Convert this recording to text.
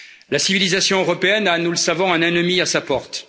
La civilisation européenne a, nous le savons, un ennemi à sa porte.